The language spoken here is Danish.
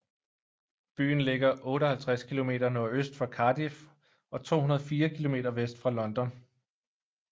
Byen ligger 58 km nordøst for Cardiff og 204 km vest for London